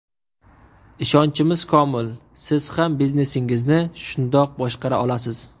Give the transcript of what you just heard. Ishonchimiz komil, siz ham biznesingizni shundoq boshqara olasiz.